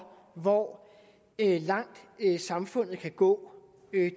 hvor langt samfundet kan gå